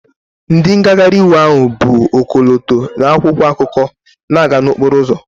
Ndị ngagharị iwe ahụ bu ọkọlọtọ na akwụkwọ akụkọ na-aga n'okporo ụzọ